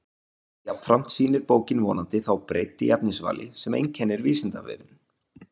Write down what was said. Jafnframt sýnir bókin vonandi þá breidd í efnisvali sem einkennir Vísindavefinn.